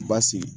Basigi